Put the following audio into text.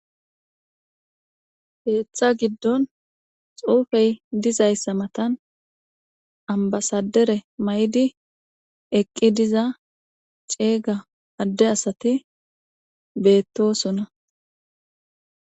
Heeththa giddon xuufey dizayssa matan ambasadere may'di eqqi diza ceeyga adde asati beettosona.